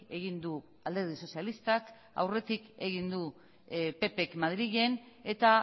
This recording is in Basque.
egin du alderdi sozialistak aurretik egin du ppk madrilen eta